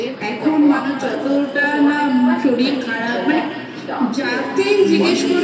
এখন মানুষ যতটা না শরীর খারাপ যাকেই জিজ্ঞাসা করবি